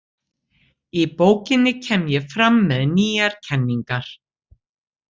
Í bókinni kem ég fram með nýjar kenningar.